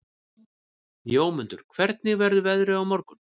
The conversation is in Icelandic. Jómundur, hvernig verður veðrið á morgun?